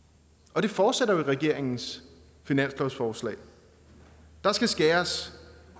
og det fortsætter i regeringens finanslovsforslag der skal skæres